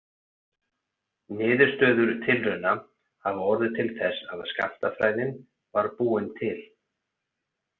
Niðurstöður tilrauna hafa orðið til þess að skammtafræðin var búin til.